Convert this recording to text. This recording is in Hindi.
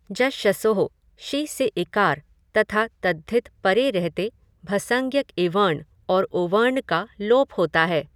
जश्शसोः शि से ईकार तथा तद्धित परे रहते भसंज्ञक इवर्ण और उवर्ण का लोप होता है।